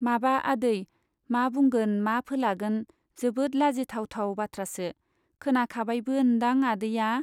माबा आदै , मा बुंगोन मा फोलागोन जोबोद लाजिथाव थाव बाथ्रासो , खोनाखाबायबो ओन्दां आदैया ?